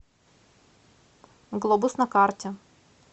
глобус на карте